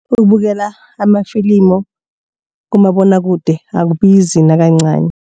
Ukubukela amafilimu kumabonwakude akubizi nakancani.